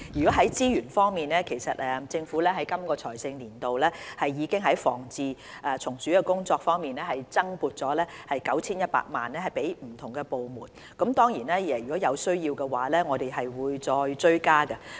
在資源方面，其實本財政年度，政府已在防治蟲鼠工作方面增撥了 9,100 萬元予不同部門，當然，如果有需要，我們會追加撥款。